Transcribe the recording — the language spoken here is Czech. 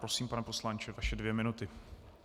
Prosím, pane poslanče, vaše dvě minuty.